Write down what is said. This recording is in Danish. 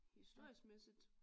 Historiskmæssigt